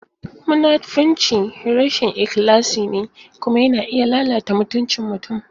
Munafunci rashin ikhlasi ne kuma yana iya lalata mutuncin mutum.